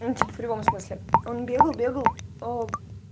ну типо в прямом смысле он бегал бегал ээ